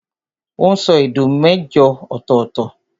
Ó n sọ èdè mẹ́jọ ọ̀tọ̀ọ̀tọ̀